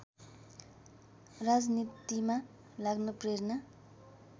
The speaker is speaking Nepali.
राजनीतिमा लाग्न प्रेरणा